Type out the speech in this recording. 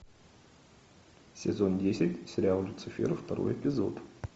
сезон десять сериал люцифер второй эпизод